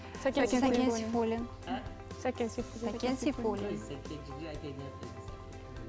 сәкен сейфуллин сәкен сейфуллин